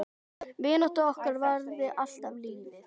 Vinátta okkar varaði allt lífið.